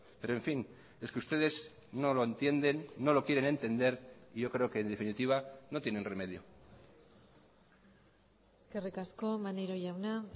pero en fin es que ustedes no lo entienden no lo quieren entender y yo creo que en definitiva no tienen remedio eskerrik asko maneiro jauna